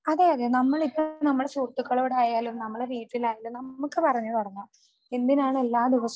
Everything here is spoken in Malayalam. അതെയതെ നമ്മളിപ്പോ നമ്മുടെ സുഹൃത്തുക്കളോടായാലും നമ്മുടെ വീട്ടിലായാലും നമുക്ക് പറഞ്ഞു തുടങ്ങാം എന്തിനാണ് എല്ലാ ദിവസവും